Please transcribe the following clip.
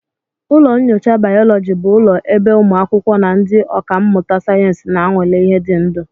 Ụlọ nyocha bayoloji bụ ụlọ ebe ụmụ akwụkwọ na ndị ọkà mmụta sayensị na-anwale ihe dị ndụ